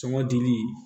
Sɔmɔ dili